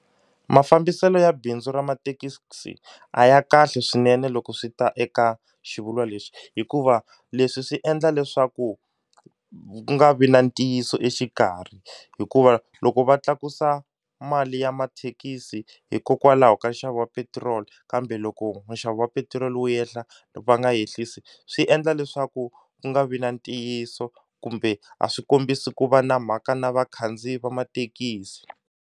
Mafambiselo ya bindzu ra mathekisi a ya kahle swinene loko swi ta eka xivulwa lexi, hikuva leswi swi endla leswaku ku nga vi na ntiyiso exikarhi hikuva loko va tlakusa mali ya mathekisi hikokwalaho ka nxavo wa petiroli kambe loko nxavo wa petiroli wu yehla va nga ehlisi swi endla leswaku ku nga vi na ntiyiso kumbe a swi kombisi ku va na mhaka na vakhandziyi va mathekisi.